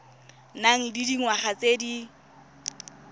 nang le dingwaga tse di